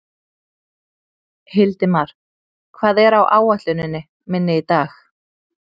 Hildimar, hvað er á áætluninni minni í dag?